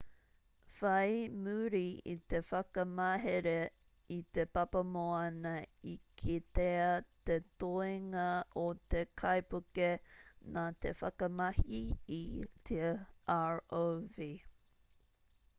whai muri i te whakamahere i te papamoana i kitea te toenga o te kaipuke nā te whakamahi i te rov